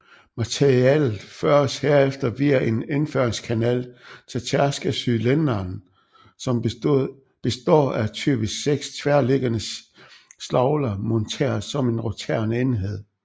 Materialet føres herefter via en indføringskanal til tærskecylinderen som består af typisk 6 tværliggende slagler monteret som en roterende enhed